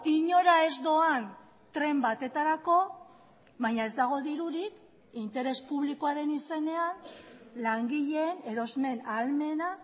inora ez doan tren batetarako baina ez dago dirurik interes publikoaren izenean langileen erosmen ahalmena